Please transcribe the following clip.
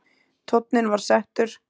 Tónninn var settur.